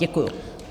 Děkuji.